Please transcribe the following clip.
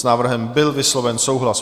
S návrhem byl vysloven souhlas.